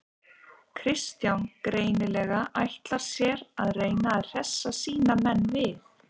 Kristján greinilega ætlar sér að reyna að hressa sína menn við.